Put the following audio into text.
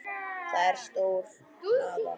Það er stór hlaða.